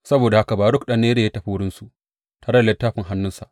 Saboda haka Baruk ɗan Neriya ya tafi wurinsu tare da littafin a hannunsa.